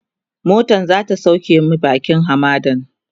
motan zata sauke mu bakin hamadan